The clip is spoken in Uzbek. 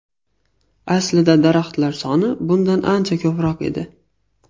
Aslida daraxtlar soni bundan ancha ko‘proq edi.